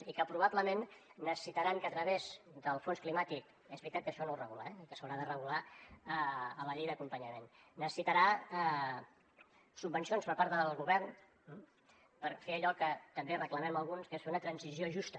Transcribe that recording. i que probablement necessitaran que a través del fons climàtic és veritat que això no ho regula eh i que s’haurà de regular a la llei d’acompanyament subvencions per part del govern per fer allò que també reclamem alguns que és fer una transició justa